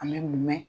A mɛ mun mɛn